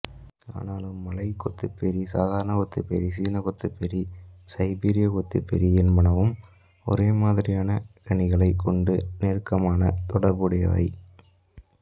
ஆனாலும் மலை கொத்துப்பேரி சாரண கொத்துப்பேரி சீன கொத்துப்பேரி சைபீரய கொத்துப்பேரி என்பனவும் ஒரேமாதிரியான கனிகளைக் கொண்டு நெருக்கமான தொடர்புடையவை